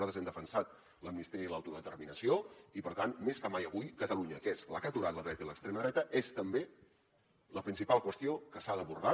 nosaltres hem defensat l’amnistia i l’autodeterminació i per tant més que mai avui catalunya que és la que ha aturat la dreta i l’extrema dreta és també la principal qüestió que s’ha d’abordar